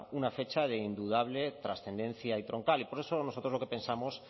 una fecha de indudable trascendencia y por eso nosotros lo que pensamos